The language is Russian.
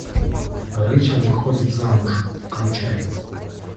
рейчел выходит замуж включай